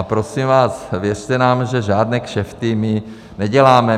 A prosím vás, věřte nám, že žádné kšefty my neděláme.